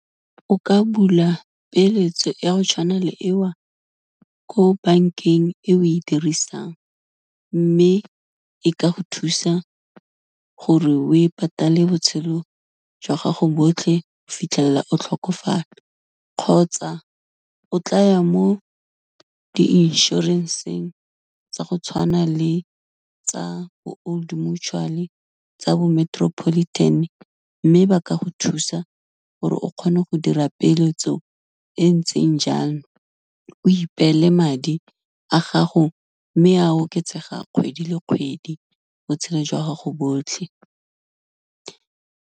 O ka bula peeletso ya go tshwana le eo, ko bankeng e o e dirisang, mme e ka go thusa gore we patale botshelo jwa gago botlhe, go fitlhelela o tlhokofala kgotsa o tlaya mo di inšorenseng tsa go tshwana le tsa bo Old Mutual, tsa bo Metropolitan mme ba ka go thusa gore o kgone go dira peeletso e ntseng jang, o ipeele madi a gago, mme a oketsega kgwedi le kgwedi, botshelo jwa gago botlhe.